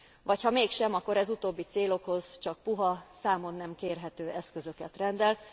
Vagy ha mégsem, akkor ez utóbbi célokhoz csak puha, számon nem kérhető eszközöket rendel.